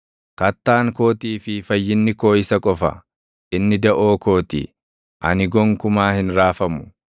Kattaan kootii fi fayyinni koo isa qofa; inni daʼoo koo ti; ani gonkumaa hin raafamu.